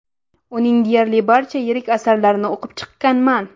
Uning deyarli barcha yirik asarlarini o‘qib chiqqanman.